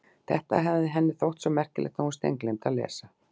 Þetta hafði henni þótt svo merkilegt að hún steingleymdi að lesa.